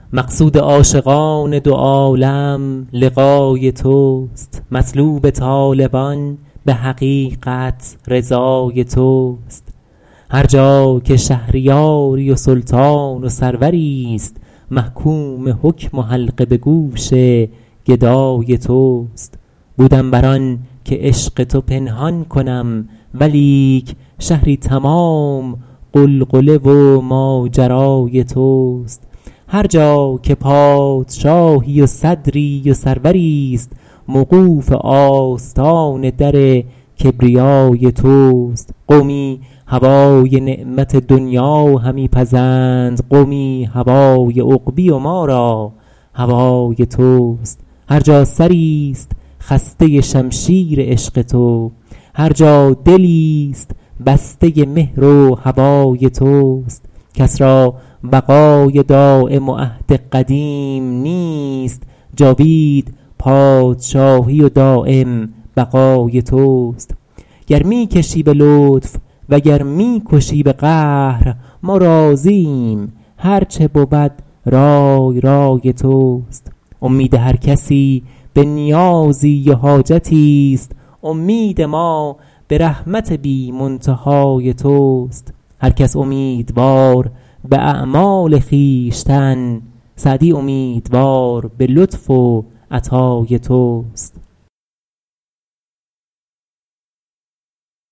مقصود عاشقان دو عالم لقای توست مطلوب طالبان به حقیقت رضای توست هر جا که شهریاری و سلطان و سروریست محکوم حکم و حلقه به گوش گدای توست بودم بر آن که عشق تو پنهان کنم ولیک شهری تمام غلغله و ماجرای توست هر جا که پادشاهی و صدری و سروریست موقوف آستان در کبریای توست قومی هوای نعمت دنیا همی پزند قومی هوای عقبی و ما را هوای توست هر جا سریست خسته شمشیر عشق تو هر جا دلیست بسته مهر و هوای توست کس را بقای دایم و عهد قدیم نیست جاوید پادشاهی و دایم بقای توست گر می کشی به لطف وگر می کشی به قهر ما راضییم هرچه بود رای رای توست امید هر کسی به نیازی و حاجتی است امید ما به رحمت بی منتهای توست هر کس امیدوار به اعمال خویشتن سعدی امیدوار به لطف و عطای توست